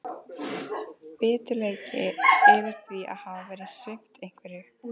Biturleiki yfir því að hafa verið svipt einhverju.